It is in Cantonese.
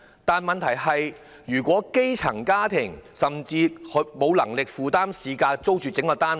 但問題是，基層家庭怎會有能力以市價租住整個單位？